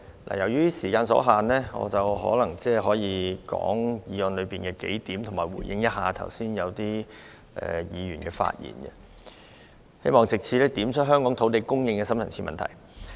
由於時間所限，或許我只能就議案的幾點發言，以及回應剛才某些議員的發言，希望藉此點出香港土地供應的深層次問題。